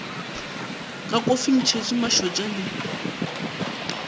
ka kofing tšhese mašotša le